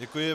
Děkuji.